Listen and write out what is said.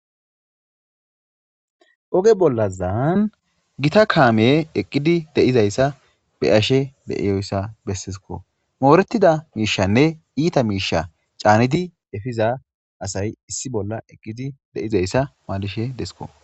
Oge bollazaan gita kaame eqqidi de7izayssa be ashe beiyoyssa bessesiko moorettida miishanne iita miisha caanidi efiza asay issi bolla eqqidi deizayssa maalishe desko.